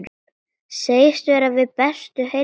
Segist vera við bestu heilsu.